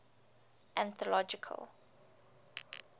anthological